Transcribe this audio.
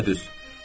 Düpbədüz.